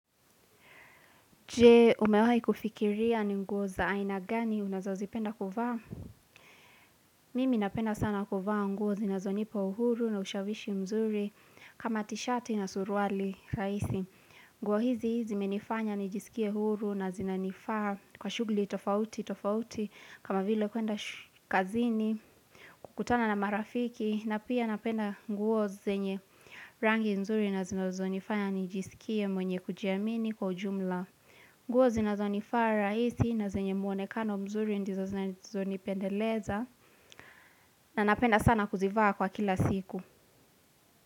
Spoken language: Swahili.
Je umewai kufikiria ni nguo za aina gani unazo zipenda kuvaa? Mimi napenda sana kuvaa nguo zinazo nipa uhuru na ushawishi mzuri kama tishati na suruali raisi. Nguo hizi zimenifanya nijiskie huru na zinanifaa kwa shughli tofauti tofauti kama vile kuenda shkazini kukutana na marafiki na pia napenda nguo zenye rangi nzuri na zinazo nifanya nijisikie mwenye kujiamini kwa ujumla. Nguo zinazonifaa rahisi na zenye muone kano mzuri ndizo zinazonipendeleza na napenda sana kuzivaa kwa kila siku.